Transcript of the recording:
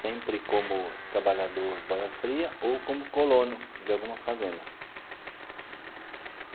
Sempre como trabalhador boia-fria ou como colono de alguma fazenda.